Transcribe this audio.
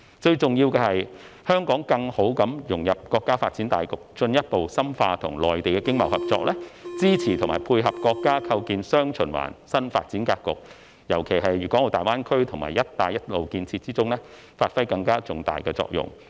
最重要的是香港更好地融入國家發展大局，進一步深化與內地的經貿合作，支持和配合國家構建"雙循環"新發展格局，尤其是在粤港澳大灣區和"一帶一路"建設中發揮更重大的作用。